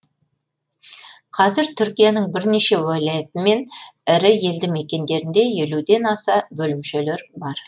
қазір түркияның бірнеше уәлаяты мен ірі елді мекендерінде елуден аса бөлімшелер бар